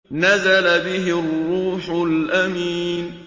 نَزَلَ بِهِ الرُّوحُ الْأَمِينُ